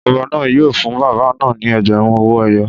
Ọba náà yóò fún bàbá náà ní ẹgbẹ̀rún owó ẹyọ